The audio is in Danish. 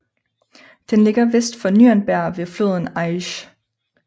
Den ligger vest for Nürnberg ved floden Aisch